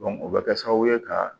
o bɛ kɛ sababu ye ka